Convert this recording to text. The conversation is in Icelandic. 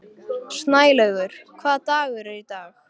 Snælaugur, hvaða dagur er í dag?